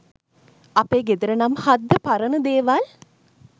අපේ ගෙදර නම් හද්ද පරන දේවල්